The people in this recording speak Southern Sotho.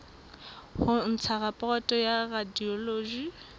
ho ntsha raporoto ya radiology